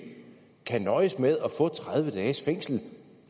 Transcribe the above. kan nøjes med at få tredive dages fængsel